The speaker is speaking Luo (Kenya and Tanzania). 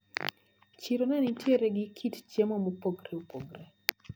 Chiro nenitiere gi kit chiemo mopogre opogre.